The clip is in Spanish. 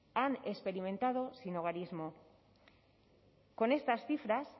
han experimentado sinhogarismo con estas cifras